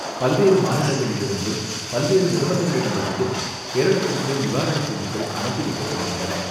பல்வேறு மாநிலங்களிலிருந்தும், பல்வேறு நிறுவனங்களிடமிருந்தும் கேரளத்திற்கு நிவாரணப்பொருட்கள் அனுப்பி வைக்கப்படுகின்றன.